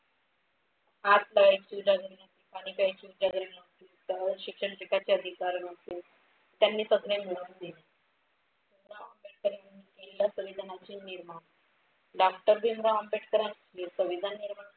हात लावायची पाणी पिण्याची सह शिक्षण शिकायचे अधिकार त्यांनी सगळे मिळवले आंबेडकरांनी केलेल्या संविधानाचे निर्माण डॉक्टर भीमराव आंबेडकरांचे संविधान निर्माण